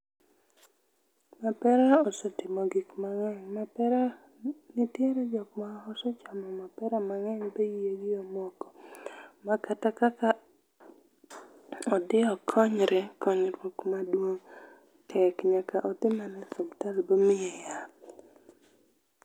Mapera osetimo gik mangeny. Mapera nitiere jokma osechamo mapera mangeny ma iye gi omoko ma kata kaka odhi okonyre konyruok maduong tek nyaka odhi mana osiptal omiye yath.